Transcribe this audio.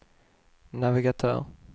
navigatör